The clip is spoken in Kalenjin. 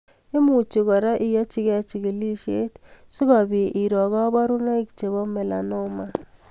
Imuchi kora iyochigei chigilishet sikobit iroo kabarunoik chebo melanoma